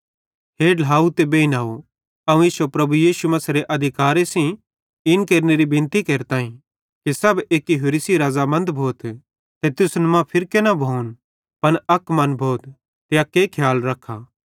हे ढ्लाव ते बेइनव अवं इश्शो प्रभु यीशु मसीहेरे अधिकारे सेइं इन केरनेरी बिनती केरताईं कि सब एक्की होरि सेइं राज़ामंद भोथ ते तुसन मां फिरके न भोन पन अक मन भोथ ते अक्के खियाल रख्खा